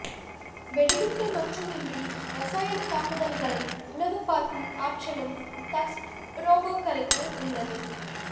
வெடிகுண்டு மட்டுமின்றி ரசாயன தாக்குதல்களை உளவு பார்க்கும் ஆற்றலும் தக்ஸ் ரோபோக்களுக்கு உள்ளது